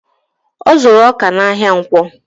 Ọ zuru ọkà n'ahia ǹkwọ